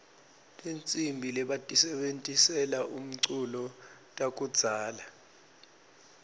tihsimbi lebatisebentisela umculo takudzala